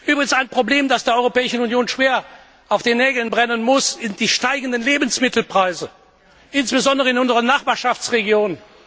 Übrigens ein Problem, das der Europäischen Union schwer auf den Nägeln brennen muss, sind die steigenden Lebensmittelpreise, insbesondere in unserer Nachbarschaftsregion.